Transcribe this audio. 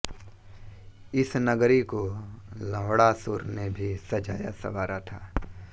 इस नगरी को लवणासुर ने भी सजाया संवारा था